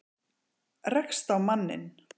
Rekst á manninn.